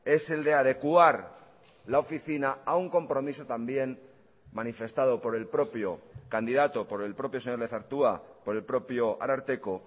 es el de adecuar la oficina a un compromiso también manifestado por el propio candidato por el propio señor lezertua por el propio ararteko